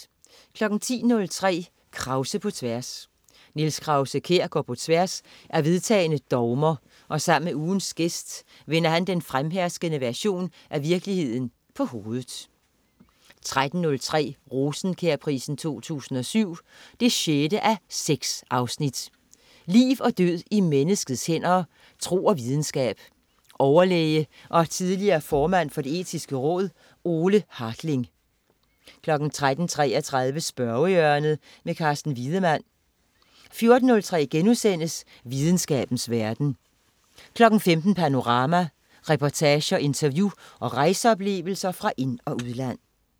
10.03 Krause på tværs. Niels Krause-Kjær går på tværs af vedtagne dogmer og sammen med ugens gæst vender han den fremherskende version af virkeligheden på hovedet 13.03 Rosenkjærprisen 2007 6:6. Liv og død i menneskets hænder. Tro og videnskab. Overlæge og tidligere formand for Det Etiske Råd, Ole Hartling 13.33 Spørgehjørnet. Carsten Wiedemann 14.03 Videnskabens verden* 15.00 Panorama. Reportager, interview og rejseoplevelser fra ind- og udland